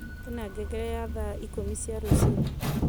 kwena ngengere ya thaa ikumi cia ruciini